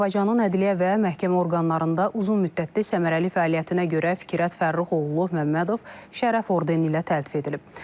Azərbaycanın ədliyyə və məhkəmə orqanlarında uzunmüddətli səmərəli fəaliyyətinə görə Fikrət Fərrux oğlu Məmmədov şərəf ordeni ilə təltif edilib.